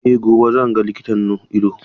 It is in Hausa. Eh gobe zan ga likitan ido.